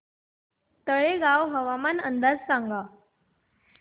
तळेगाव हवामान अंदाज सांगा